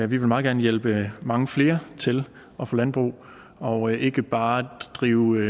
vil meget gerne hjælpe mange flere til at få landbrug og ikke bare drive